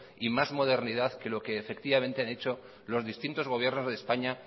y más modernidad que lo que efectivamente han hecho los distintos gobiernos de españa